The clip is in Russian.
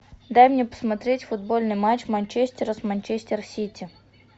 дай мне посмотреть футбольный матч манчестера с манчестер сити